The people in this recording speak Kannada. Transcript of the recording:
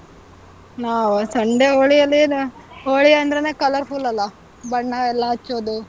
ನಾವಾ, Sunday ಹೋಳಿಯಲ್ಲೇನ, ಹೋಳಿ ಅಂದ್ರೆನೇ colorful ಅಲ್ಲಾ, ಬಣ್ಣ ಎಲ್ಲಾ ಹಚ್ಚೋದು.